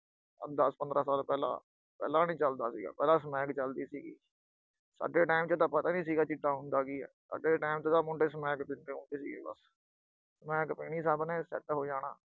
ਆਹ ਦਸ-ਪੰਦ੍ਹਰਾਂ ਸਾਲ ਪਹਿਲਾਂ, ਪਹਿਲਾਂ ਨੀ ਚਲਦਾ ਸੀਗਾ, ਪਹਿਲਾਂ ਸਮੈਕ ਚਲਦੀ ਸੀਗੀ। ਅੱਗੇ time ਚ ਤਾਂ ਪਤਾ ਹੀ ਨੀਂ ਹੁੰਦਾ ਸੀਗਾ, ਚਿੱਟਾ ਹੁੰਦਾ ਕੀ ਆ, ਅੱਗੇ ਦੇ time ਚ ਤਾਂ ਮੁੰਡੇ ਸਮੈਕ ਪੀਂਦੇ ਹੁੰਦੇ ਸੀਗੇ ਬਸ।